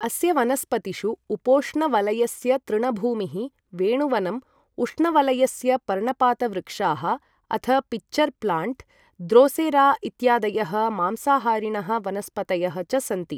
अस्य वनस्पतिषु उपोष्णवलयस्य तृणभूमिः, वेणुवनम्, उष्णवलयस्य पर्णपातवृक्षाः अथ पिच्चर् प्लाण्ट्, द्रोसेरा इत्यादयः मांसाहारिणः वनस्पतयः च सन्ति।